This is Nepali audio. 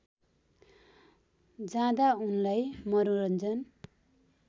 जाँदा उनलाई मनोरञ्जन